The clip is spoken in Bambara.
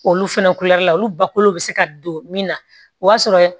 Olu fɛnɛ la olu bako bɛ se ka don min na o b'a sɔrɔ